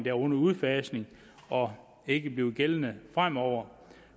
er under udfasning og ikke vil være gældende fremover